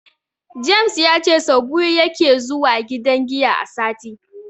James ya ce sau biyu yake zuwa gidan giya a sati.